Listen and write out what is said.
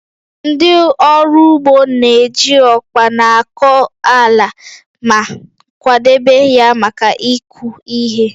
Ndị ọrụ ugbo na-eji ọkpa na-akọ ala ma kwadebe ya maka ịkụ ihe